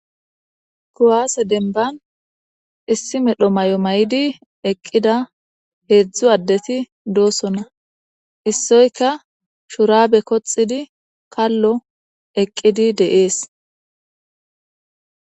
Kuwase demban issi medho mayo mayidi eqqida hedzdzu addeti de'osona. Issoykka shurabe koxxidi kallo eqqidi de'ees.